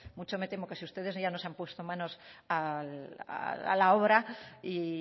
mucho me temo que si ustedes ya no se han puesto manos a la obra y